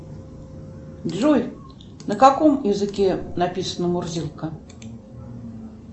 джой на каком языке написана мурзилка